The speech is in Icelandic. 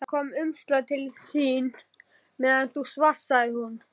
Það kom umslag til þín meðan þú svafst, sagði hún.